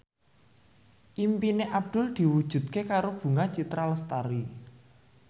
impine Abdul diwujudke karo Bunga Citra Lestari